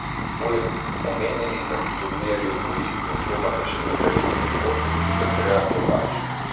Poleg omenjenih na turnirju dvojic nastopata še Katarina Srebotnik in Andreja Klepač.